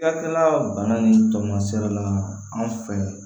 Cakɛda bana nin tamaserela anw fɛ